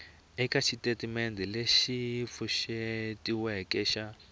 eka xitatimendhe lexi pfuxetiweke xa